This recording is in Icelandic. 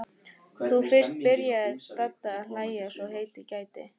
Þá fyrst byrjaði Dadda að hlæja svo heitið gæti.